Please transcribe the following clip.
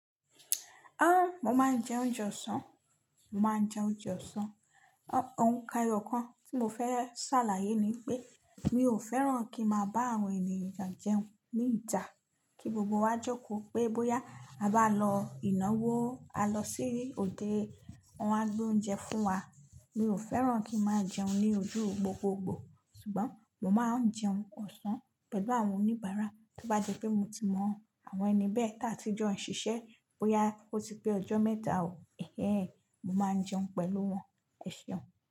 Ah! Mo máa ń jẹ oúnjẹ ọ̀sán, mo máa ń jẹ oúnjẹ ọ̀sán. Òun kàn eyọ̀kàn tí mo fẹ́ ṣàlàyé ni pé mi ò fẹ́ràn kí máa bá àwọn ènìyàn jẹun ní ìta kí gbogbo wa jókò pé bóyá a bá lọ ìnáwó a lọ sí òde wọ́n á gbé oúnjẹ fún wa. Mi ò fẹ́ràn kí n máa jẹun ní ojú gbogbogbò, ṣùgbọ́n mo máa ń jẹun ọ̀sán pẹ̀lú àwọn oníbàárà tó bá jẹ́ pé mo ti mọ àwọn ẹni bẹ́ẹ̀ tí a ti jọ ń ṣiṣẹ́ bóyá ó ti pé ọjọ́ mẹ́ta òó, ẹheh, mo máa ń jẹun pẹ̀lú wọn. Ẹ ṣeun.